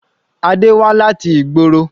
Adé wá láti ìgboro.